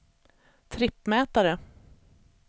trippmätare